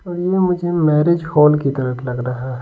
ये मुझे marriage hall की तरह लग रहा है।